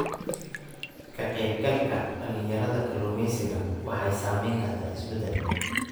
Ka-qaybgalka dhalinyarada kalluumeysiga waxay sameyn kartaa isbeddel.